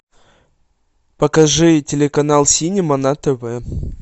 покажи телеканал синема на тв